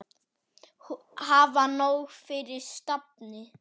Hafa nóg fyrir stafni.